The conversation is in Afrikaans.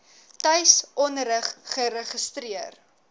tuis onderrig geregistreer